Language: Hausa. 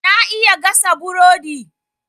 Na iya gasa burodi.